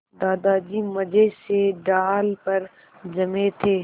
दादाजी मज़े से डाल पर जमे थे